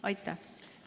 Aitäh!